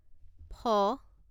ফ